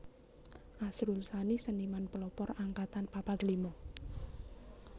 Asrul Sani Seniman Pelopor Angkatan papat lima